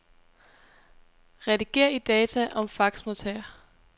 Rediger i data om faxmodtager.